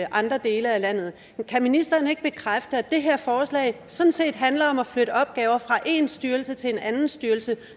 andre dele af landet kan ministeren ikke bekræfte at det her forslag sådan set handler om at flytte opgaver fra én styrelse til en anden styrelse